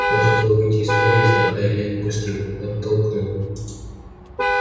он хотел выйти из подъезда а илья не пустил оттолкнул